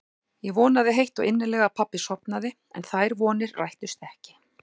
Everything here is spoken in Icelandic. Ég vonaði heitt og innilega að pabbi sofnaði en þær vonir rættust ekki.